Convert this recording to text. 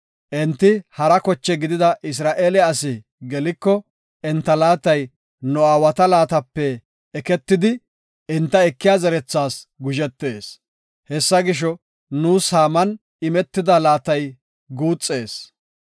Enti hara koche gidida Isra7eele asi geliko enta laatay nu aawata laatape eketidi enta ekiya zerethas guzhetees. Hessa gisho, nuus saaman imetida laatay guuxees.